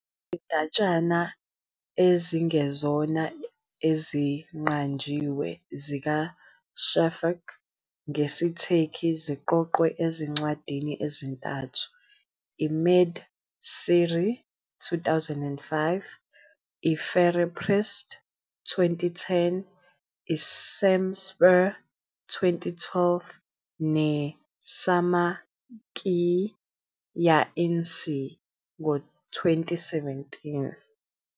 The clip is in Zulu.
Izindatshana ezingezona eziqanjiwe zikaShafak ngesiTurkey ziqoqwe ezincwadini ezintathu-IMed-Cezir, 2005, iFirarperest, 2010, i-Şemspare, 2012, neSanma ki Yalnizsin, 2017.